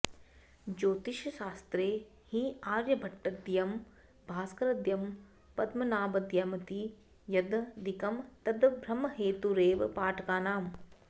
ज्योतिषशास्त्रे हि आर्यभटद्वयं भास्करद्वयं पद्मनाभद्वयमिति यद् द्विकं तद् भ्रमहेतुरेव पाठकानाम्